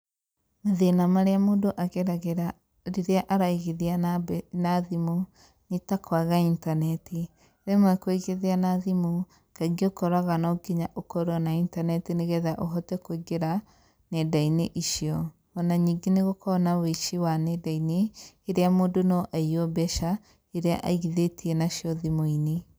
Mathĩna marĩa mũndũ ageragĩra rĩrĩa araigithia na mbe, na thimũ, nĩ ta kwaga internet. Rĩmwe kũigithia na thimũ, kaingĩ ũkoraga no kinya ũkorwo na internet nĩgetha ũhote kũingĩra nenda-inĩ icio. Ona ningĩ nĩgũkoragwo na wũici wa nenda-inĩ, iria mũndũ no aiywo mbeca, iria mũndũ aigithĩtie nacio thimũ-inĩ.